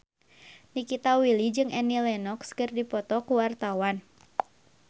Nikita Willy jeung Annie Lenox keur dipoto ku wartawan